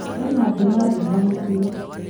Kwĩna na nduma ndumanu biũ